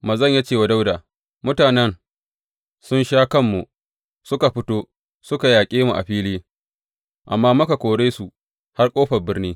Manzon ya ce wa Dawuda, Mutanen sun sha kanmu suka fito suka yaƙe mu a fili, amma muka kore su har ƙofar birni.